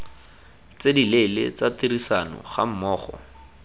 tse dileele tsa tirisano gammogo